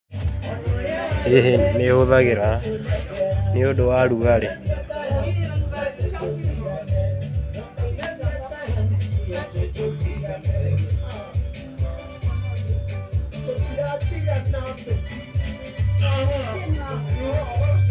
Ĩ nĩ hũthagĩra nĩ ũndũ wa ũrugarĩ.